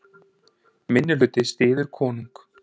Minnihluti styður konung